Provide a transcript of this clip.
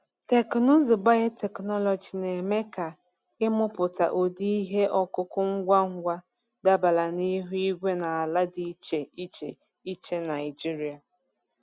Teknụzụ biotechnology na-eme ka ịmụpụta ụdị ihe ọkụkụ ngwa ngwa dabara na ihu igwe na ala dị iche iche iche Naijiria.